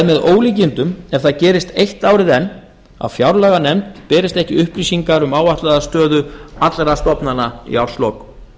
með ólíkindum ef það gerist eitt árið enn að fjárlaganefnd berist ekki upplýsingar um áætlaða stöðu allra stofnana í árslok